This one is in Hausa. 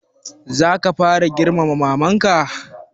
Za ka fara girmama maman ka?